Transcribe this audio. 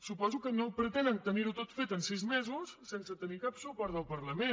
suposo que no pretenen tenir ho tot fet en sis mesos sense tenir cap suport del parlament